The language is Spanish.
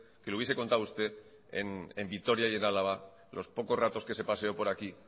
que lo hubiese contado usted en vitoria y en álava los pocos ratos que se paseo por aquí